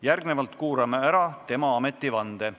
Järgnevalt kuulame ära tema ametivande.